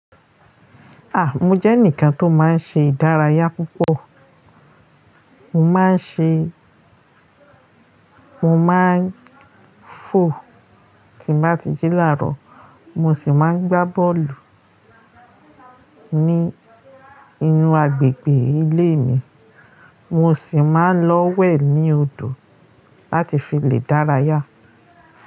À, mo jẹ́ ẹnìkan tó máa ń ṣe ìdárayá púpọ̀. Mo máa ń ṣe, mo máa ń fò tí mà ti jí làárọ̀, mo sì máa ń gbá bọ́ọ̀lù ní inú agbègbè ilé mi, mo sì máa ń lọ wẹ̀ ní odò láti fi lè dáràyá.